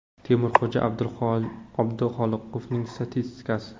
Temurxo‘ja Abduxoliqovning statistikasi: !